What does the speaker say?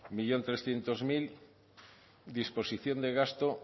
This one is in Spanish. un millón trescientos mil disposición de gasto